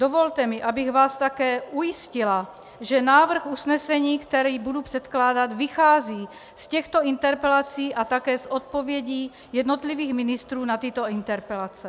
Dovolte mi, abych vás také ujistila, že návrh usnesení, který budu předkládat, vychází z těchto interpelací a také z odpovědí jednotlivých ministrů na tyto interpelace.